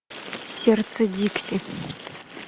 сердце дикси